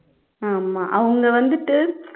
ஆமா அவங்க வந்துட்டு